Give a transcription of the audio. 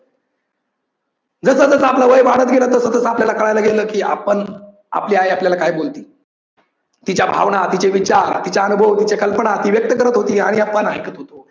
जस जस आपल वय वाढत गेल तसं तसं आपल्याला कळायला गेल कि आपण आपली आई आपल्याल काय बोलते. तिच्या भावना, तिचे विचार, तिचे अनुभव, तिचे कल्पना ती व्यक्त करत होती आणि आपण ऐकत होतो.